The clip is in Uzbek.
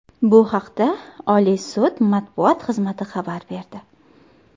Bu haqda Oliy sud matbuot xizmati xabar berdi.